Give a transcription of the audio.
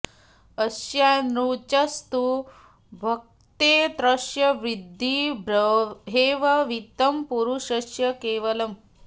यस्यानृचस्तु भुङ्क्ते तस्य विद्धि ब्रह्मैव वित्तं पुरुषस्य केवलम्